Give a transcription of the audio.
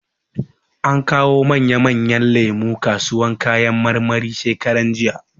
An kawo manya manyan lemu kasuwan kayan marmari shekaran jija.